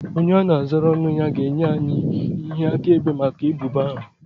Onye a na-azara ọnụ ya ga-enye anyị ihe akaebe maka ebubo ahụ